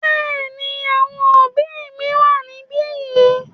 Bẹ́ẹ̀ ni, àwọn òbí mi wà níbí yìí.